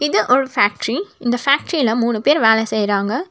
இது ஒரு ஃபேக்டரி இந்த ஃபேக்டரியில மூணு பேர் வேல செய்றாங்க.